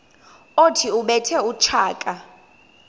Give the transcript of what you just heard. othi ubethe utshaka